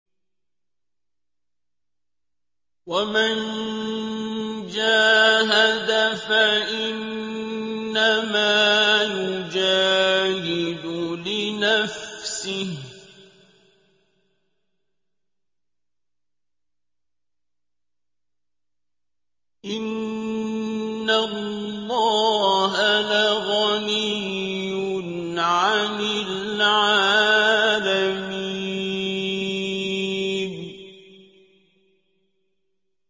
وَمَن جَاهَدَ فَإِنَّمَا يُجَاهِدُ لِنَفْسِهِ ۚ إِنَّ اللَّهَ لَغَنِيٌّ عَنِ الْعَالَمِينَ